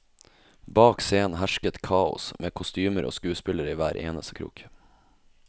Bak scenen hersket kaos, med kostymer og skuespillere i hver eneste krok.